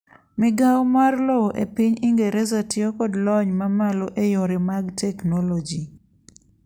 migawo mar lowo e piny ingereza tiyo kod lony mamalo e yore mag teknoloji